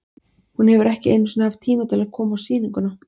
Hún hefur ekki einu sinni haft tíma til að koma á sýninguna.